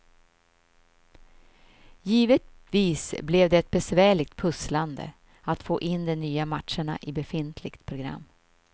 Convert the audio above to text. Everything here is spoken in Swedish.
Givetvis blev det ett besvärligt pusslande att få in de nya matcherna i befintligt program.